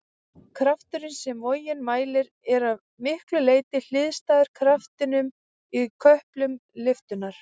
Krafturinn sem vogin mælir er að miklu leyti hliðstæður kraftinum í köplum lyftunnar.